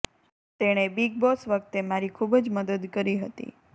તેણે બિગ બોસ વખતે મારી ખૂબ જ મદદ કરી હતી